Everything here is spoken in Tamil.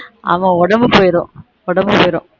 ஆமா உடம்பு போய்டும் உடம்பு போய்டும்